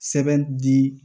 Sɛbɛn di